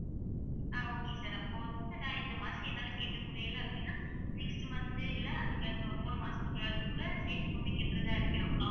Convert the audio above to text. ஆஹ் okay sir அப்போ வந்து நான் இந்த மாசம் என்னால கட்ட முடியலை அப்படின்னா next month இல்லை அதுக்கு அடுத்து ஒரு மூணு மாசத்துக்குள்ளாட்டிக்கூட சேர்த்துக்கொண்டு கட்டுறதா இருக்கலாம்